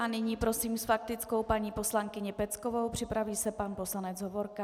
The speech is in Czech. A nyní prosím s faktickou paní poslankyni Peckovou, připraví se pan poslanec Hovorka.